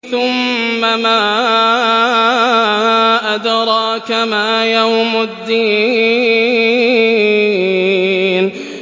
ثُمَّ مَا أَدْرَاكَ مَا يَوْمُ الدِّينِ